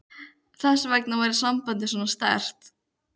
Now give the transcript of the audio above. Þess vegna væri sambandið svona sterkt.